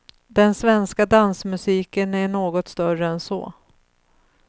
Den svenska dansmusiken är något större än så.